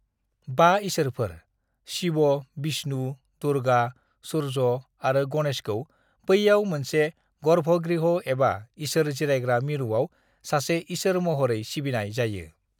"बा इसोरफोर- शिव, विष्णु, दुर्गा, सूर्य आरो गणेशखौ बैयाव मोनसे गर्भगृह एबा इसोर जिरायग्रा मिरुआव सासे इसोर महरै सिबिनाय जायो।"